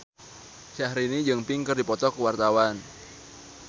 Syahrini jeung Pink keur dipoto ku wartawan